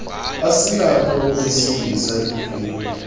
asinakho ukuyisindisa ekufeni